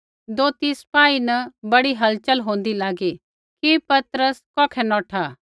दोथी सिपाही न बड़ी हलचल होंदी लागी कि पतरस कौखै नौठा